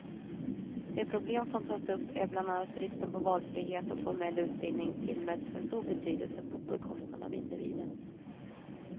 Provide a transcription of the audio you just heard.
De problem som tas upp är bland annat bristen på valfrihet och att formell utbildning tillmäts för stor betydelse, på bekostnad av individen.